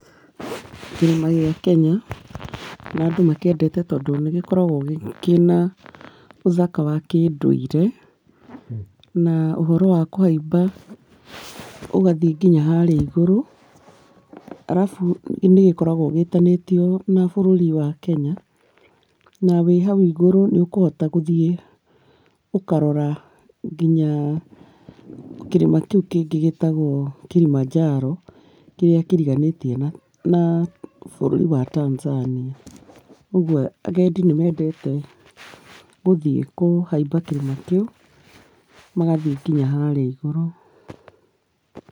Kĩrĩma gĩa kenya, na andũ makĩendete tondũ nĩgĩkoragwo kĩna ũthaka wa kĩndũire na ũhoro wa kũhaiba ũgathiĩ nginya harĩa igũrũ , arabũ nĩgĩkoragwo gĩtanĩtio na bũrũri wa kenya na wĩ hau igũrũ nĩ ũkũhota kũthiĩ, ũkarora nginya kĩrĩma kĩũ kĩngĩ gĩtagwo kĩrĩmanjaro, kĩrĩakĩriganĩtie na bũrũri wa tanzania, ũgũo agendi nĩ mendete gũthiĩ kũhaiba kĩrĩma kĩu magathiĩ nginya harĩa igũrũ.